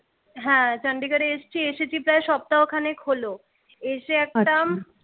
হ্যাঁ চন্ডিগড় এসছি। এসেছি প্রায় সপ্তাহখানেক হলো। এসে একটা